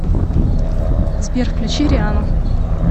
сбер включи риану